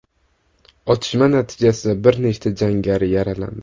Otishma natijasida bir nechta jangari yaralandi.